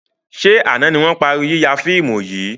Ṣé àna ni wọn parí yíya fíìmù yìí?